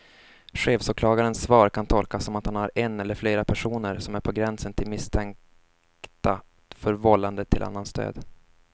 Chefsåklagarens svar kan tolkas som att han har en eller flera personer som är på gränsen till misstänkta för vållande till annans död.